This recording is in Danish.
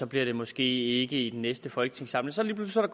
bliver det måske ikke i den næste folketingssamling så er